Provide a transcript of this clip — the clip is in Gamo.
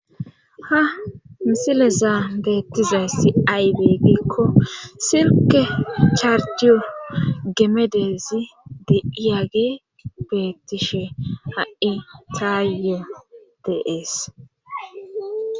Ha misilezaa beettizayssi aybe gikko silke charciyo gemedezi de iyage betishe hai tayo dees.